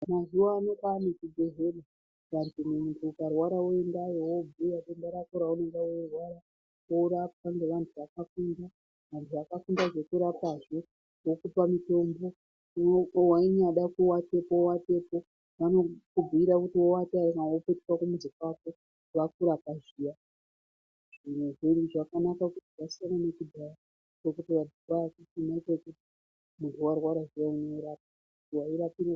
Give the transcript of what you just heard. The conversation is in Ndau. Mazuwa ano kwaane zvibhedhlera muntu ukarwara woendayo wobhuya denda rako raunege weirwara. Worapwa ngevantu vakafunda, vantu vakafunda zvekurapa zvo. Vokupa mutombo. Weinyada kuwatapo, wowatapo. Vanokubhiira kuti wowata ere kana wopetuka kumuzi kwako vakurapa zviyaa. Zviro zvo zvakanaka kuti zvasiyana nekudhaya ngekuti kwaiya kusina kuti muntu warwara zviyaa worapwa, wairapiwa.